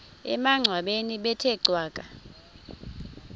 emangcwabeni bethe cwaka